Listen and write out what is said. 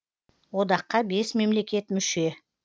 одаққа бес мемлекет мүше